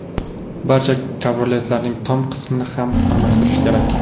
Barcha kabrioletlarning tom qismini ham almashtirish kerak.